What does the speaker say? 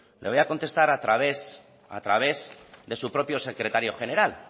le voy a contestar a través de su propio secretario general